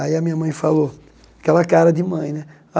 Aí a minha mãe falou, aquela cara de mãe, né?